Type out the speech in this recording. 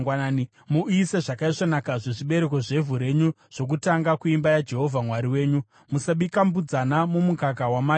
“Muuyise zvakaisvonaka zvezvibereko zvevhu renyu zvokutanga kuimba yaJehovha Mwari wenyu. “Musabika mbudzana mumukaka wamai vayo.”